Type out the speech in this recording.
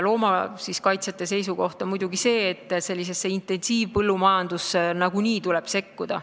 Loomakaitsjate seisukoht on muidugi see, et intensiivpõllumajandusse tuleb nagunii sekkuda.